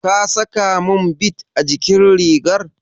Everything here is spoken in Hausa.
Ka sakamin bid a jikin rigar?